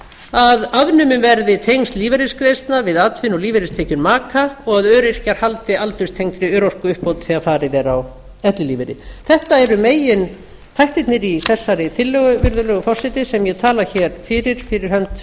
að afnumin verði tengsl lífeyristekna við atvinnu og lífeyristekjur maka og að öryrkjar haldi aldurstengdri örorkuuppbót þegar farið er á ellilífeyri þetta eru meginþættirnir í þessari tillögu virðulegi forseti sem ég tala hér fyrir fyrir hönd